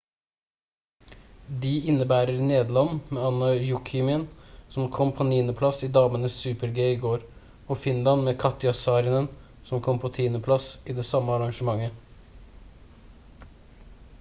de innebærer nederland med anna jokjemien som kom på 9. plass i damenes super-g i går og finland med katja saarinen som kom på 10. plass i det samme arrangementet